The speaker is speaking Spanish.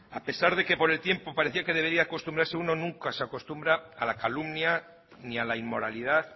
a pesar de que por el tiempo parecía que debería acostumbrase uno nunca se acostumbra a la calumnia ni a la inmoralidad